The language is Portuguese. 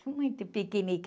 Muito piquenique.